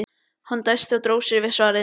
Hann dæsti og dró við sig svarið.